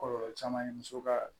Kɔlɔlɔ caman ye muso ka